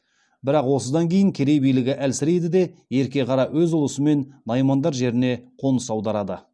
бірақ осыдан кейін керей билігі әлсірейді де ерке қара өз ұлысымен наймандар жеріне қоныс аударады